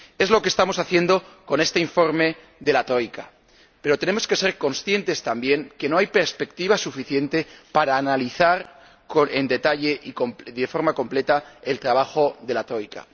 Es lo que estamos haciendo con este informe de la Troika, pero tenemos que ser conscientes también de que no hay perspectiva suficiente para analizar en detalle y de forma completa el trabajo de la Troika.